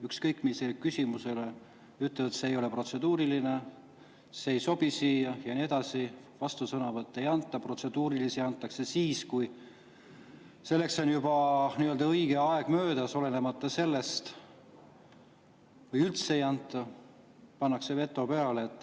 Ükskõik millise küsimuse peale ütlevad, et see ei ole protseduuriline, see ei sobi siia, ja nii edasi, vastusõnavõtuks ei anta, protseduuriliste antakse siis, kui on juba nii-öelda õige aeg möödas, või üldse ei anta, pannakse veto peale.